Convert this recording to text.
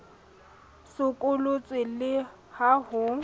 o sokolotswe le ha ho